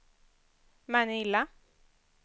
Manila